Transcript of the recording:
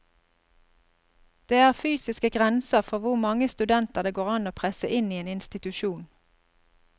Det er fysiske grenser for hvor mange studenter det går an å presse inn i en institusjon.